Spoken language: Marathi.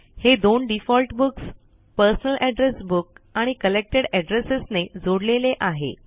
हे दोन default books personal address book आणि कलेक्टेड एड्रेसेस ने जोडलेले आहे